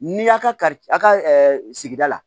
N'i y'a ka kari a ka sigida la